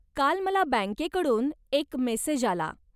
काल मला बँकेकडून एक मेसेज आला.